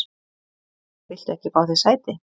Viltu ekki fá þér sæti?